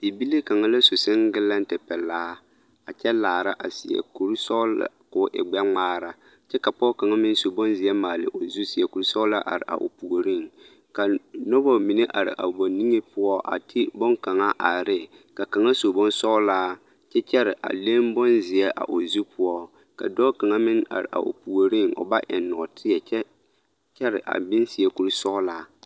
Bibile kaŋa la su seŋgelɛnte pelaa a kyɛ laara a seɛ kuri sɔgelaa k'o e gbɛ-ŋmaara kyɛ ka pɔge kaŋ meŋ su bonzeɛ maale o zu seɛ kuri sɔgelaa are o puoriŋ ka noba mine are a ba niŋe poɔ a ti boŋkaŋa are ne ka kaŋa su bonsɔgelaa kyɛ kyɛre a leŋ bonzeɛ a o zu poɔ, ka dɔɔ kaŋa meŋ are a o puoriŋ o ba eŋ nɔɔteɛ kyɛ kyɛre a meŋ seɛ kuri sɔgelaa.